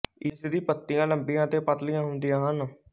ਇਸ ਦੀ ਪੱਤੀਆਂ ਲੰਬੀਆਂ ਅਤੇ ਪਤਲੀਆਂ ਹੁੰਦੀਆਂ ਹਨ